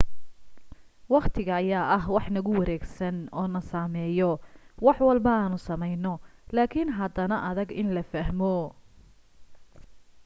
waqtiga ayaa ah wax nagu wareegsan oo na saameeyo wax walbo aanu samayno laakin haddana adag in la fahmo